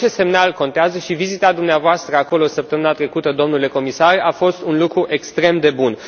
Orice semnal contează și vizita dumneavoastră acolo săptămâna trecută, domnule comisar, a fost un lucru extrem de bun.